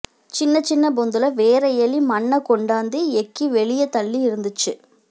சின்ன சின்ன பொந்துல வேற எலி மண்ண கொண்டாந்து எக்கி வெளிய தள்ளி இருந்துச்சு